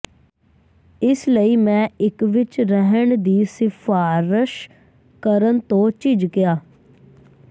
ਇਸ ਲਈ ਮੈਂ ਇਕ ਵਿਚ ਰਹਿਣ ਦੀ ਸਿਫਾਰਸ਼ ਕਰਨ ਤੋਂ ਝਿਜਕਿਆ